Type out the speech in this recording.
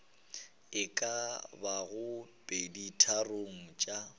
e ka bago peditharong tša